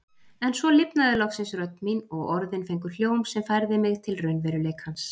En svo lifnaði loksins rödd mín og orðin fengu hljóm sem færði mig til raunveruleikans.